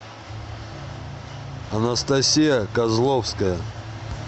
анастасия козловская